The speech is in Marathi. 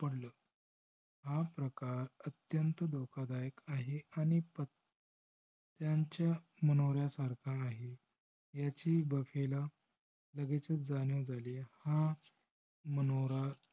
पडलं. हा प्रकार अत्यंत धोकादायक आहे आणि त्यांच्या मनोर्‍या सारखा आहे याची बफ्फे ला लगेचच जाणीव झाली. हा मनोरा